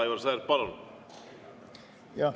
Aivar Sõerd, palun!